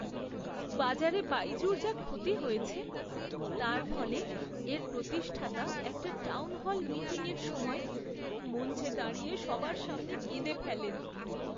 বাজারে বাইজু'র যা ক্ষতি হয়েছে তার ফলে এর প্রতিষ্ঠাতা একটা টাউনহল মিটিংয়ের সময় মঞ্চে দাঁড়িয়ে সবার সামনে কেঁদে ফেলেন!